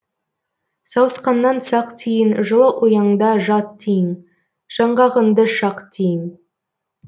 сауысқаннан сақ тиін жылы ұяңда жат тиін жаңғағыңды шақ тиін